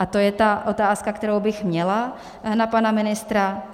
A to je ta otázka, kterou bych měla na pana ministra.